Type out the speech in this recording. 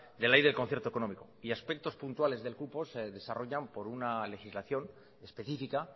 de la ley del concierto económico y aspectos puntuales del cupo se desarrollan por una legislación específica